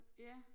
Ja